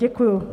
Děkuji.